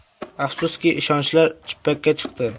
Afsuski, ishonchlar chippakka chiqdi.